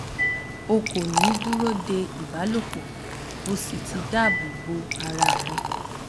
o kò ní dúró de ìbálòpò o sì ti dáàbò bo ara rẹ